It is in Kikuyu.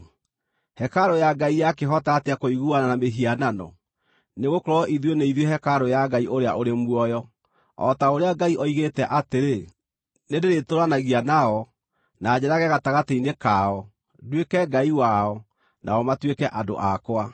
Hekarũ ya Ngai yakĩhota atĩa kũiguana na mĩhianano? Nĩgũkorwo ithuĩ nĩ ithuĩ hekarũ ya Ngai ũrĩa ũrĩ muoyo. O ta ũrĩa Ngai oigĩte atĩrĩ: “Nĩndĩrĩtũũranagia nao, na njeerage gatagatĩ-inĩ kao, nduĩke Ngai wao, nao matuĩke andũ akwa.”